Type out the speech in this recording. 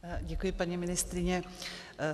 Děkuji, paní ministryně.